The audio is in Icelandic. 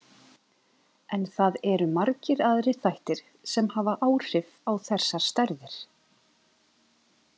En það eru margir aðrir þættir sem hafa áhrif á þessar stærðir.